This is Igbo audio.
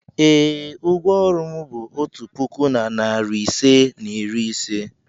ee, ụgwọ ọrụ m bụ otu puku na narị ise na iri ise.